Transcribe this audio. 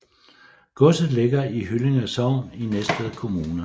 Godset ligger i Hyllinge Sogn i Næstved Kommune